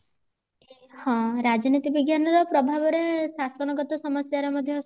ହଁ ରାଜନୀତି ବିଜ୍ଞାନ ର ପ୍ରଭାବ ରେ ଶାସନଗତ ସମସ୍ଯା ରେ ମଧ୍ୟ